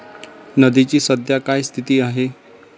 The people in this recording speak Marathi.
नदीची सध्या काय स्थिती आहे?